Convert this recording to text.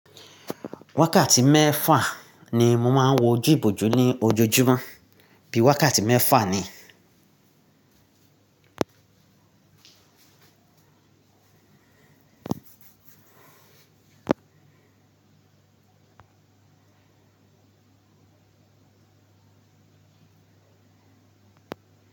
Wákàtí mẹ́fà ni mo máa ń wo ojú ìbòjú ní ojoojúmọ́, bíi wákàtí mẹ́fà ni.